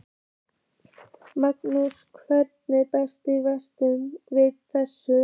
Magnús: Og hvernig bregst verkalýðshreyfingin við þessu?